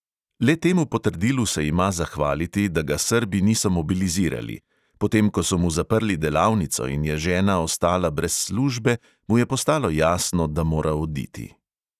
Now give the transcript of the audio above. Le temu potrdilu se ima zahvaliti, da ga srbi niso mobilizirali; potem ko so mu zaprli delavnico in je žena ostala brez službe, mu je postalo jasno, da mora oditi.